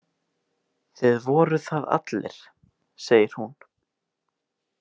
Þið voruð það allir, segir hún.